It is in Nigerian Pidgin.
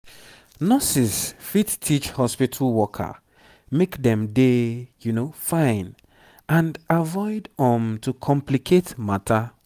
nurses fit teach hospitu worker make dem dey fine and avoid um to complicate matter